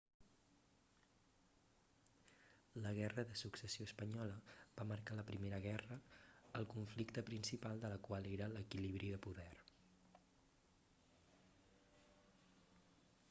la guerra de successió espanyola va marcar la primera guerra el conflicte principal de la qual era l'equilibri de poder